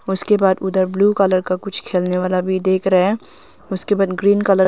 उसके बाद उधर ब्लू कलर का कुछ खेलने वाला भी देख रह है उसके बाद ग्रीन कलर --